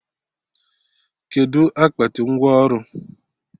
Kedụ akpati ngwọ ọrụ?